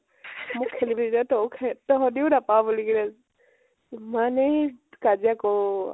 খেলিব নিদিয় । তইয়ো খেল, তহতিও নাপাৱ বুলি কেনে । ইমানেই কাজিয়া কৰো ।